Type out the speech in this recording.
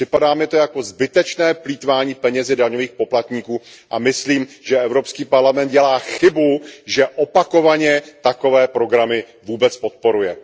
Připadá mi to jako zbytečné plýtvání penězi daňových poplatníků a myslím, že Evropský parlament dělá chybu, že opakovaně takové programy vůbec podporuje.